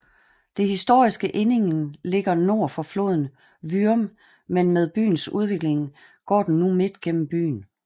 Det historiske Ehningen ligger nord for floden Würm men med byens udvikling går den nu midt gennem byen